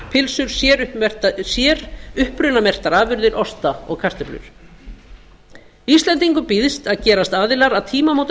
pylsur uppmerktar sér upprunamerktar afurðir osta og kartöflur íslendingum býðst að gerast aðilar að tímamótasamningi